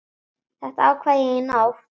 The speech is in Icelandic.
Þetta ákvað ég í nótt.